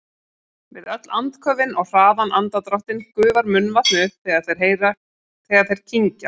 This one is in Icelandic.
Við öll andköfin og hraðan andardráttinn gufar munnvatnið upp þegar þeir kyngja.